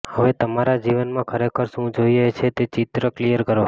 હવે તમારા જીવનમાં ખરેખર શું જોઈએ છે તે ચિત્ર ક્લિયર કરો